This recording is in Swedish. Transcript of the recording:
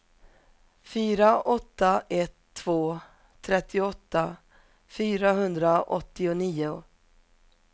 fyra åtta ett två trettioåtta fyrahundraåttionio